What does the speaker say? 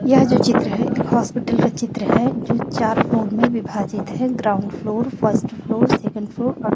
यह जो चित्र है एक हॉस्पिटल का चित्र है जो चार फ्लोर में विभाजित है ground floor first floor second floor और--